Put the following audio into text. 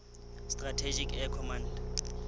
strategic air command